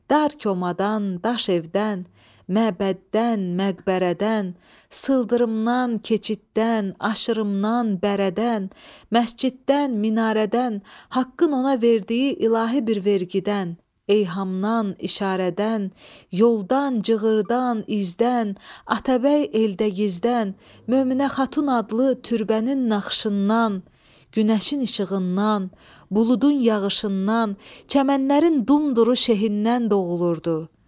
Dar komadan, daş evdən, məbəddən, məqbərədən, sıldırımdan, keçiddən, aşırımdan, bərədən, məsciddən, minarədən, Haqqın ona verdiyi ilahi bir vergüdən, eyhamdan, işarədən, yoldan, cığırdan, izdən, Atabəy Eldəgizdən, Möminə Xatun adlı türbənin naxışından, günəşin işığından, buludun yağışından, çəmənlərin dumduru şehindən doğulurdu.